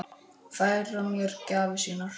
Færa mér gjafir sínar.